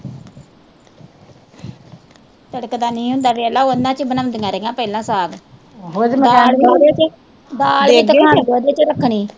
ਤਿੜਕਦਾ ਨਹੀਂ ਹੀ ਹੁੰਦਾ ਵੇਖਲਾ ਉਹਨਾਂ ਚ ਈ ਬਣਾਉਦੀਆਂ ਰਹੀਆ ਪਹਿਲਾ ਸਾਗ ਦਾਲ ਵੀ ਉਹਦੇ ਚ ਰੱਖਣੀ